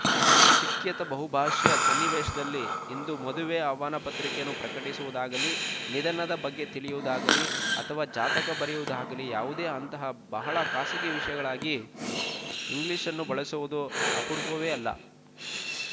ಶಿಕ್ಯಾತ ಬಹುಭಾಶೀಯ ಸನ್ನಿವೇಶದಲ್ಲಿ ಇಂದು ಮದುವೆ ಆಹ್ವಾನ ಪತ್ರಿಕೆಯನ್ನು ಪ್ರಕಟಿಸುವುದಾಗಲೀ ನಿಧನದ ಬಗ್ಗೆ ತಿಳಿಯು ವುದಾಗಲಿ ಅಥವಾ ಜಾತಕ ಬರೆಯುವುದಾಗಲೀ ಯಾವುದೇಅಂತಹ ಬಹಳ ಖಾಸಗಿ ವಿಷಯಗಳಿಗಾಗಿ ಇಂಗ್ಲೀಷನ್ನು ಬಳಸುವುದು ಅಪರೂಪವೇ ಅಲ್ಲ